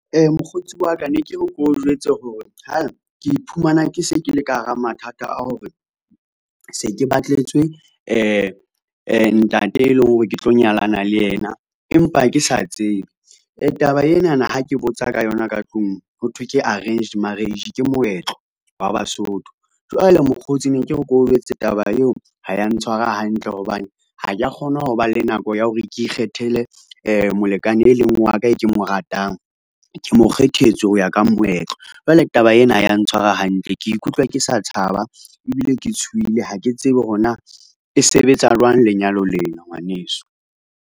Mokgotsi wa ka ne ke re ke o jwetse hore ke iphumana ke se ke le ka hara mathata a hore se ke batletswe ntate e leng hore ke tlo nyalana le yena. Empa ke sa tsebe. Taba enana ha ke botsa ka yona ka tlung. Ho thwe ke arranged marriage. Ke moetlo wa Basotho jwale mokgotsi ne ke re, ke o jwetse taba eo ha ya ntshwara hantle hobane ha ke ya kgona ho ba le nako ya hore ke ikgethele molekane e leng wa ka e ke mo ratang. Ke mo kgethetswe ho ya ka moetlo. Jwale taba ena ha ya ntshwara hantle. Ke ikutlwa ke sa thaba ebile ke tshohile ha ke tsebe hore na e sebetsa jwang, lenyalo lena ngwaneso.